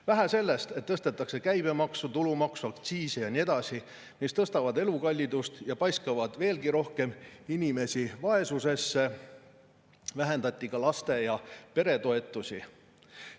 Vähe sellest, et tõstetakse käibemaksu, tulumaksu, aktsiise ja nii edasi, mis tõstavad elukallidust ja paiskavad veelgi rohkem inimesi vaesusesse, vähendatakse ka laste- ja peretoetusi.